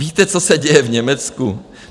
Víte, co se děje v Německu?